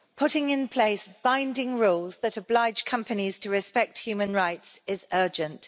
Mr President, putting in place binding rules that oblige companies to respect human rights is urgent.